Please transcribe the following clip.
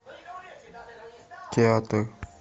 театр